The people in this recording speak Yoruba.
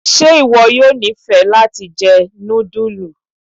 Ṣe iwọ yóò nifẹ lati jẹ nudulu?